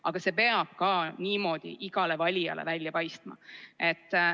Aga see peab ka niimoodi igale valijale välja paistma.